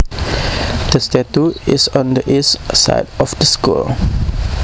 The statue is on the east side of the school